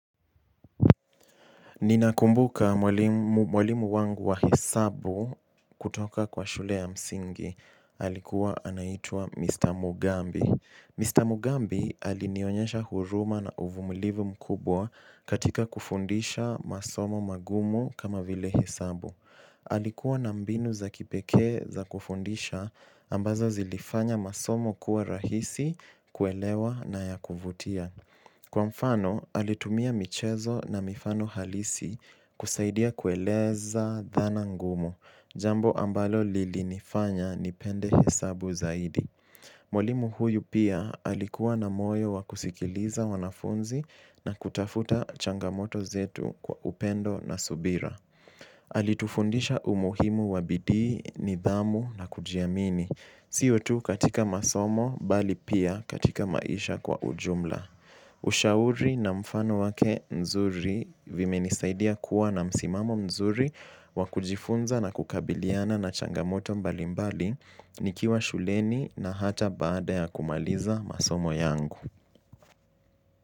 Ninakumbuka mwalimu wangu wa hesabu kutoka kwa shule ya msingi, alikuwa anaitua Mr. Mugambi. Mr. Mugambi alinionyesha huruma na uvumulivu mkubwa katika kufundisha masomo magumu kama vile hesabu. Alikuwa na mbinu za kipekee za kufundisha ambazo zilifanya masomo kuwa rahisi kuelewa na ya kuvutia. Kwa mfano alitumia michezo na mifano halisi kusaidia kueleza dhana ngumu jambo ambalo lilinifanya nipende hesabu zaidi mwalimu huyu pia alikiwa na moyo. Alitufundisha umuhimu wa bidii nidhamu na kujiamini sio tu katika masomo bali pia katika maisha kwa ujumla. Ushauri na mfano wake nzuri vimenisaidia kuwa na msimamo mzuri wa kujifunza na kukabiliana na changamoto mbalimbali nikiwa shuleni na hata baada ya kumaliza masomo yangu.